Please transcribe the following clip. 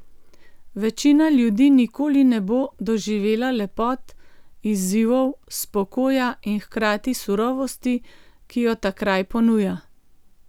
Večina ljudi nikoli ne bo doživela lepot, izzivov, spokoja in hkrati surovosti, ki jo ta kraj ponuja.